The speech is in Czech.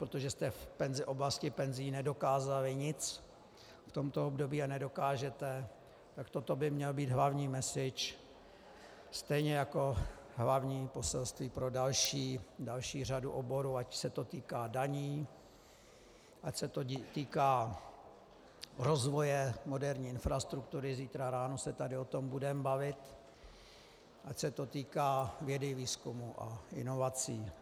Protože jste v oblasti penzí nedokázali nic v tomto období a nedokážete, tak toto by měl být hlavní message, stejně jako hlavní poselství pro další řadu oborů, ať se to týká daní, ať se to týká rozvoje moderní infrastruktury - zítra ráno se tady o tom budeme bavit -, ať se to týká vědy, výzkumu a inovací.